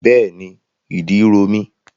Bẹ́ẹ̀ni, ìdí ro mí.